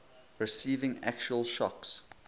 receiving actual shocks